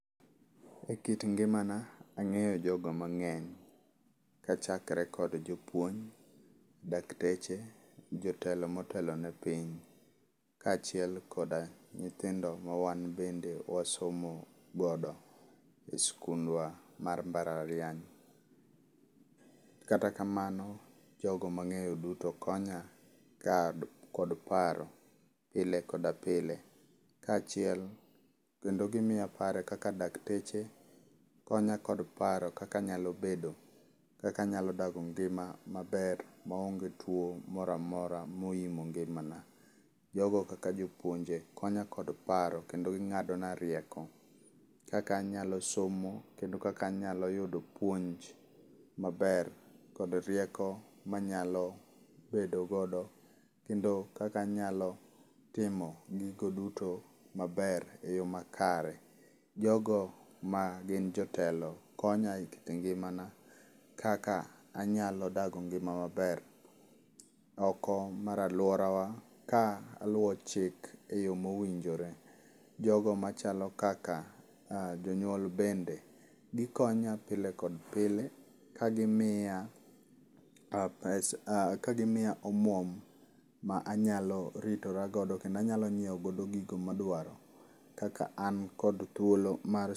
E kit ngimana, angéyo jogo mangény. Kachakre kod jopuonj, dakteche, jotelo motelo ne piny, kaachiel koda nyithindo ma wan bende wasomo godo e skundwa mar mbalariany. Kata kamano jogo mangéyo duto konya kod paro, pile koda pile. Kaachiel, kendo gimiya paro, kaka dakteche, konya kod paro kaka anayalo bedo, kaka anyalo dago ngima maber maonge tuo moramora moimo ngimana. Jogo kaka jopuonje, konya kod paro, kendo gingádona rieko, kaka anyalo somo, kendo kaka anyalo yudo puonj maber, kod rieko manyalo bedo godo. Kendo kaka anyalo timo gogo duto maber, e yoo makare. Jogo ma gin jotelo, konya e kit ngimana, kaka anyalo dago ngima maber, oko mar aluorawa, ka aluwo chik e yoo mowinjore. Jogo machalo kaka jonyuol bende, gikonya pile kod pile, kagimiya, kagimiya omuom ma anyalo ritora godo, kendo anyalo nyiewo gigo ma adwaro, kaka an kod thuolo mar